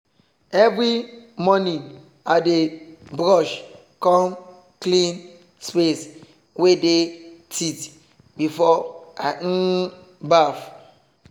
every morning i dey brush com clean space wey dey teeth before i um baff.